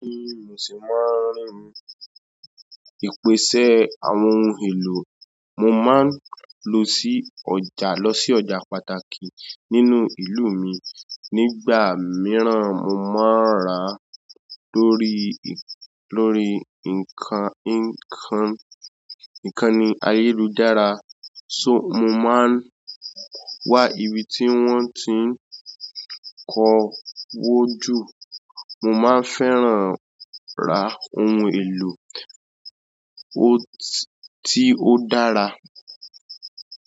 Bẹ́ẹ̀ni, mo ṣì máa ń rìn. Ìpèsè àwọn ohun èlò mo máa ń lọ sí ọjà lọ sí ọjà pàtàkì nínú ìlú mi. Nígbà mìíràn, mo máa ń rà lórí lórí nǹkan nǹkan nǹkan ní ayélujára. So mo máa ń wá ibi tí wọ́n ti ń kọwó jù. Mo máa ń fẹ́ran ra ohun èlò tí ó dára.